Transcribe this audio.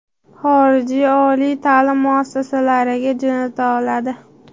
xorijiy oliy taʼlim muassasalariga jo‘nata oladi.